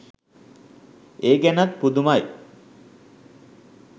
ඒ ගැනත් පුදුමයි.